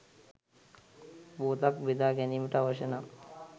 පුවතක් බෙදා ගැනීමට අවශ්‍ය නම්